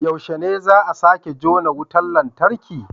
Yaushe ne za a sake jona wutar lantarki?